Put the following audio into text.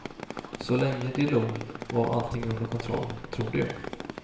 Så länge de log var allting under kontroll, trodde jag.